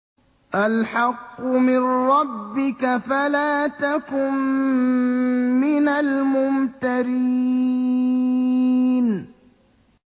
الْحَقُّ مِن رَّبِّكَ فَلَا تَكُن مِّنَ الْمُمْتَرِينَ